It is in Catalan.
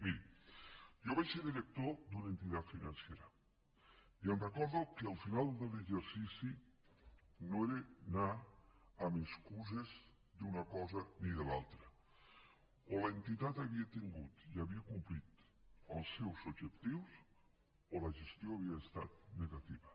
miri jo vaig ser director d’una entitat financera i recordo que al final de l’exercici no era anar amb excuses d’una cosa ni de l’altra o l’entitat havia tingut i havia complit els seus objectius o la gestió havia estat negativa